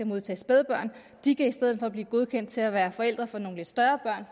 modtage spædbørn de kan i stedet for blive godkendt til at være forældre for nogle lidt større